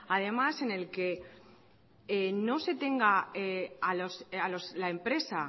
además en el que no se tenga la empresa